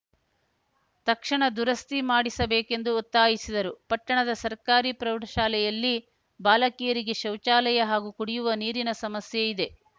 ತಕ್ಷಣ ದುರಸ್ತಿ ಮಾಡಿಸಬೇಕೆಂದು ಒತ್ತಾಯಿಸಿದರು ಪಟ್ಟಣದ ಸರ್ಕಾರಿ ಪ್ರೌಢಶಾಲೆಯಲ್ಲಿ ಬಾಲಕಿಯರಿಗೆ ಶೌಚಾಲಯ ಹಾಗೂ ಕುಡಿಯುವ ನೀರಿನ ಸಮಸ್ಯೆ ಇದೆ